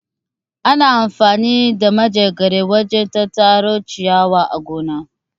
Ana amfani da Manjagara wajen tattaro ciyawa a gona.